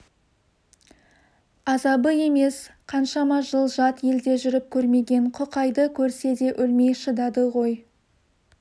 азабы емес қаншама жыл жат елде жүріп көрмеген құқайды көрсе де өлмей шыдады ғой